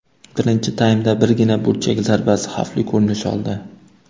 Birinchi taymda birgina burchak zarbasi xavfli ko‘rinish oldi.